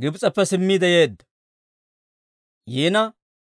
Gibs'eppe simmiide yeedda.